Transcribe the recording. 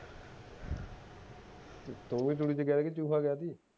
ਤੂੰ ਵੀ ਤੂੜੀ ਚ ਗਿਆ ਸੀ ਕੇ